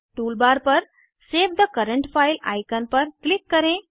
toolbar पर save the current file icon पर click करें